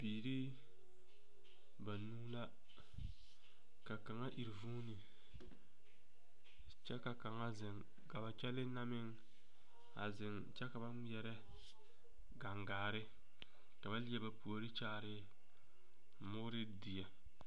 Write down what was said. Biiri banuu la ka kaŋa iri vuuni kyɛ ka kaŋa zeŋ ka kyɛlee na meŋ zeŋ kyɛ ka ba ŋmeɛrɛ gaŋgaare ka ba leɛ ba puori kyaare mooredie.